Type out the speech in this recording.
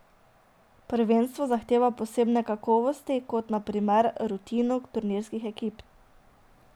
Prvenstvo zahteva posebne kakovosti, kot, na primer, rutino turnirskih ekip.